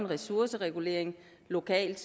ressourceregulering lokalt